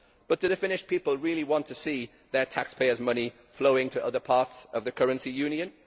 But do the Finnish people really want to see their taxpayers' money flowing to other parts of the currency union?